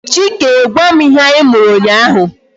Chike gwam ihe anyi mụrụ ụnyaahụ